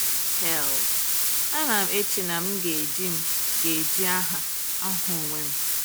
Hell, anam eche na m ga-eji m ga-eji aha ahụ onwe m.